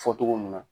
Fɔ togo mun na